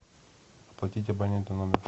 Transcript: оплатить абоненту номер